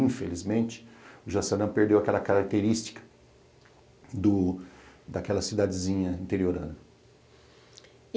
Infelizmente, o Jaçanã perdeu aquela característica do daquela cidadezinha interiorana.